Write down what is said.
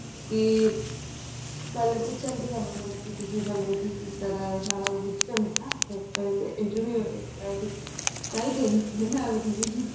ਕੀ ਪਹਲੇ ਪੁੱਛਣ ਗੇ ਸਾਨੂੰ ਪਹਿਲਾਂ ਕੇ ਤੁਸੀਂ ਪਹਿਲੇ ਕੀ ਕੀਤਾ ਸਾਰਾ ਕੁਛ ਨਾ ਪਹਿਲੇ interview ਹੋਏਗੀ ਤਾਹੀ ਦੇਣਗੇ ਏਵੇਂ ਥੋੜੀ